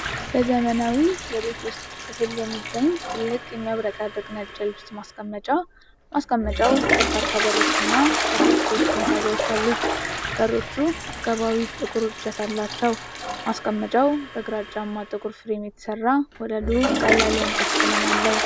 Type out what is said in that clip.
በዘመናዊ የቤት ውስጥ ክፍል ውስጥ የሚገኝ ትልቅ፣ የሚያብረቀርቅ ነጭ የልብስ ማስቀመጫ፤ ማስቀመጫው በርካታ በሮች እና ከታች ሶስት መሳቢያዎች አሉት። በሮቹ አቀባዊ ጥቁር እጀታዎች አሏቸው። ማስቀመጫው በግራጫማ ጥቁር ፍሬም የተሰራ፣ ወለሉ ቀላል የእንጨት ቀለም አለው።